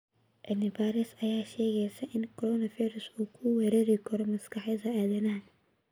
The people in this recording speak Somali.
Cilmi baaris ayaa sheegeysa in coronavirus-ku uu weerari karo maskaxda aadanaha.